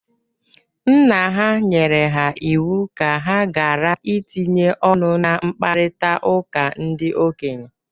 Nna ha nyere ha iwu ka ha gara itinye ọnụ na mkparịtaụka ndị okenye.